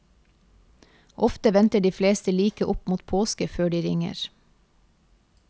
Ofte venter de fleste like opp mot påske før de ringer.